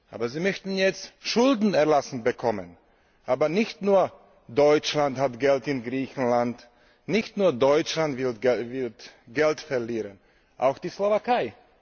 Aber Sie möchten jetzt Schulden erlassen bekommen. Doch nicht nur Deutschland hat Geld in Griechenland, nicht nur Deutschland wird Geld verlieren, auch die Slowakei.